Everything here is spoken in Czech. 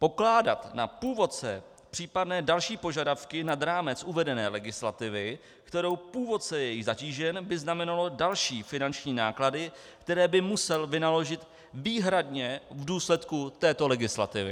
Pokládat na původce případné další požadavky nad rámec uvedené legislativy, kterou původce je zatížen, by znamenalo další finanční náklady, které by musel vynaložit výhradně v důsledku této legislativy.